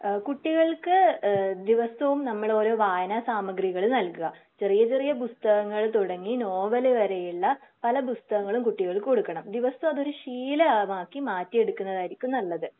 ഏഹ് കുട്ടികൾക്ക് ഏഹ് ദിവസവും നമ്മള് ഓരോ വായനാ സാമഗ്രികൾ നൽകുക. ചെറിയ ചെറിയ പുസ്തകങ്ങളിൽ തുടങ്ങി നോവൽ വരെയുള്ള പല പുസ്തകങ്ങളും കുട്ടികൾക്ക് കൊടുക്കണം. ദിവസം അതൊരു ശീലമാക്കി മാറ്റി എടുക്കുന്നതായിരിക്കും നല്ലത്.